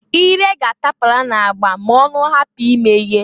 Ire ga-atapara na-agba ma-ọnụ hapụ imeye.